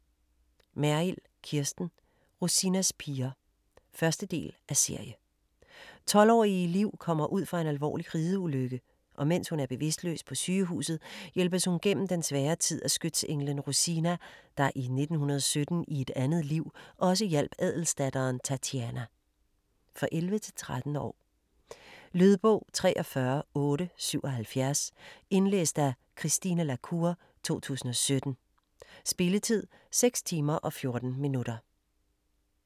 Merrild, Kirsten: Rosinas piger 1. del af serie. 12-årige Liv kommer ud for en alvorlig rideulykke, og mens hun er bevidstløs på sygehuset, hjælpes hun gennem den svære tid af skytsenglen Rosina, der i 1917 i et andet liv også hjalp adelsdatteren, Tatiana. For 11-13 år. Lydbog 43877 Indlæst af Christine la Cour, 2017. Spilletid: 6 timer, 14 minutter.